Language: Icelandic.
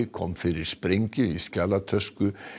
kom fyrir sprengju í skjalatösku